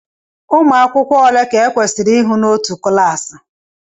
Ụmụ akwụkwọ ole ka e kwesịrị ihụ n'otu klassi